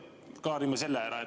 Kõigepealt klaarime selle ära.